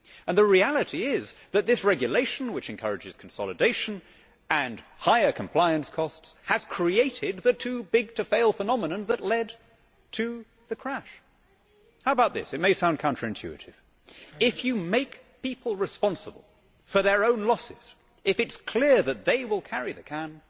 The reality is that this regulation, which encourages consolidation and higher compliance costs, has created the too big to fail' phenomenon that led to the crash. How about this it may sound counter intuitive if you make people responsible for their own losses, if it is clear that they will carry the can,